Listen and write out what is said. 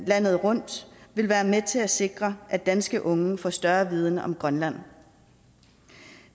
landet rundt vil være med til at sikre at danske unge får større viden om grønland